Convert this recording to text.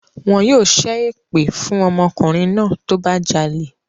Wọn yóò ṣẹ́ èpè fún ọmọkùnrin náà tó bá jalè